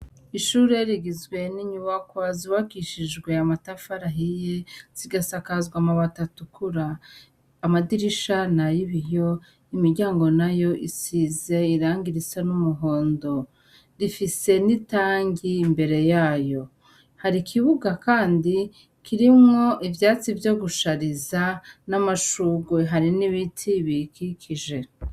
Ishure rigizwe n'inyubakwa zubakishijwe amatafari ahiye , zigasakazwa amabati atukura. Amadirisha nay'ibiyo , imiryango nayo isize irangi risa n'umuhondo. Rifise n'itangi imbere yayo. Hari ikibuga kandi kirimwo ivyatsi vyo gushariza n'amashugwe hari n'ibiti biyikikije.